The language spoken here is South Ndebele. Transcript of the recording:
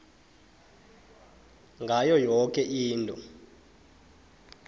ngayo yoke into